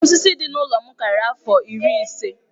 Osisi dị n'ụlọ m karịrị afọ iri ise.